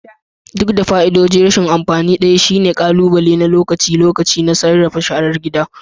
Duk da fa'idodin, rashin amfani ɗaya shine ƙalubale na lokaci-lokaci na sarrafa sharar gida